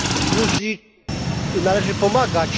Gruzji należy pomagać.